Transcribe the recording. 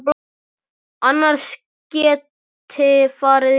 Annars geti farið illa.